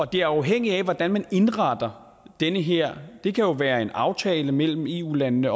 det er afhængigt af hvordan man indretter det her det kan jo være en aftale mellem eu landene